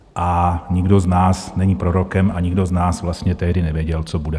A nikdo z nás není prorokem a nikdo z nás vlastně tehdy nevěděl, co bude.